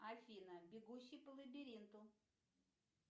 афина бегущий по лабиринту